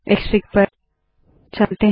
Xfig पर चलते है